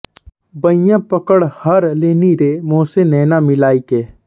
बईयाँ पकड़ हर लीनी रे मोसे नैना मिलाइके